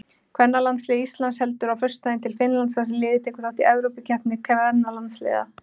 Kvennalandslið Íslands heldur á föstudaginn til Finnlands þar sem liðið tekur þátt í Evrópumóti kvennalandsliða.